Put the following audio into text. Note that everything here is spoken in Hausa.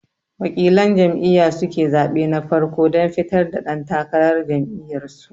Waƙilan jam'iya suke zaɓe na farko dan fitar da ɗan takarar jam'iyar su